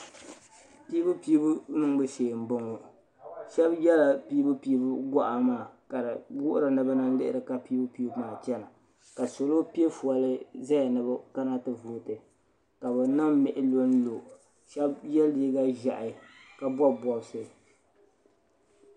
Piibu piibu shee m boŋɔ sheba yela piibu piibu goɣa ka fi wuhira ni bana n lihiri ka Piibu Piibu maa chena ka salo piɛ foli ni bɛ kana ti vooti ka bɛ niŋ mihi lonlo sheba ye liiga ʒehi ka bobi bobisi.